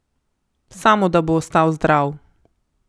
Samo da bo ostal zdrav.